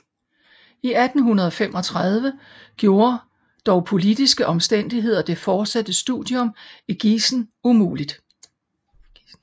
I 1835 gjorde dog politiske omstændigheder det fortsatte studium i Gießen umulig